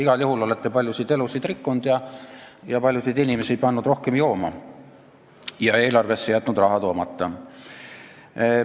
Igal juhul, te olete paljusid elusid rikkunud, paljusid inimesi pannud rohkem jooma ja eelarvesse jätnud raha toomata.